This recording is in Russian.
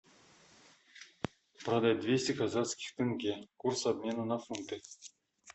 продать двести казахских тенге курс обмена на фунты